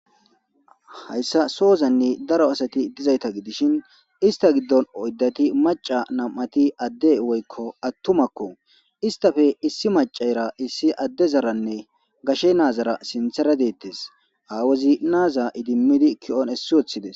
hayssa sohozanni daro asati dizayta gidishin ista giddon oyddati maca nam7ati adde woykko attumakko istafe issi macara issi adde zaranne gashe naazara sinthera deettes aawazi naaza idimmidi ki7on essi wothides